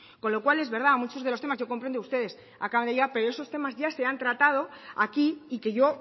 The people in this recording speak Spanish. con lo cual es verdad muchos de los temas yo comprendo que ustedes acaban de llegar pero esos temas ya se han tratado aquí y que yo